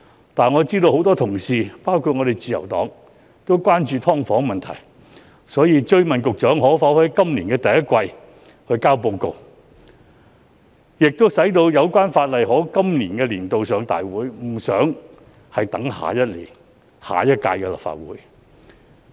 然而，我知道多位同事，包括自由黨議員，均十分關注"劏房"問題，所以我追問局長可否在今年第一季提交報告，使《條例草案》趕及在今個立法年度提交大會，而無需等到下屆立法會處理。